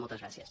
moltes gràcies